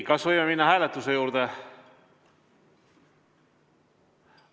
Kas võime minna hääletuse juurde?